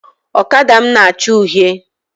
Ọkada m na acha uhie